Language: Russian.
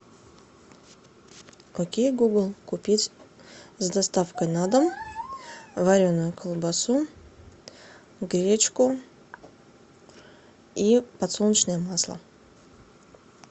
окей гугл купить с доставкой на дом вареную колбасу гречку и подсолнечное масло